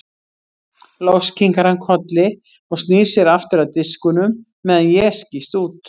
Loks kinkar hann kolli og snýr sér aftur að diskunum meðan ég skýst út.